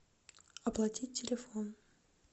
оплатить телефон